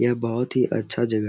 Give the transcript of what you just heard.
यह बहुत ही अच्छा जगह --